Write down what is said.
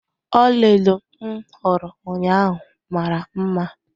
Ọlaedo m hụrụ ụnyaahụ mara mma.